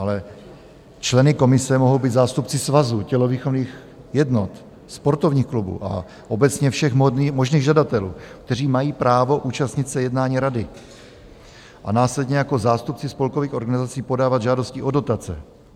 Ale členy komise mohou být zástupci svazů, tělovýchovných jednot, sportovních klubů a obecně všech možných žadatelů, kteří mají právo účastnit se jednání rady a následně jako zástupci spolkových organizací podávat žádosti o dotace.